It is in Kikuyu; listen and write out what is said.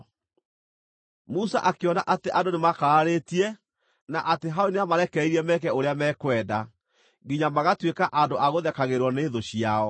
Musa akĩona atĩ andũ nĩmakararĩtie, na atĩ Harũni nĩamarekereirie meke ũrĩa mekwenda, nginya magaatuĩka andũ a gũthekagĩrĩrwo nĩ thũ ciao.